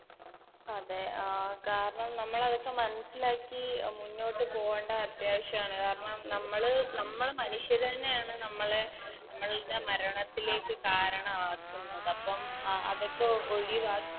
അതെ ആ കാരണം നമ്മളതൊക്കെ മനസ്സിലാക്കി മുന്നോട്ട് പോവണ്ട അത്യാവശ്യമാണ് കാരണം നമ്മള് നമ്മള് മനുഷ്യരാന്നെയാണ് നമ്മളെ നമ്മൾടെ മരണത്തിലേക്ക് കാരണ ആക്കുന്നത് അപ്പം അതൊക്കെ ഓ ഒഴി